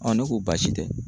ne ko baasi tɛ